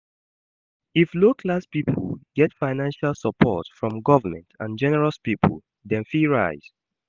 If Low class pipo get financial support from government and generous pipo dem fit rise